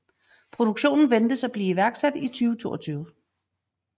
Produktionen ventes at blive iværksat i 2022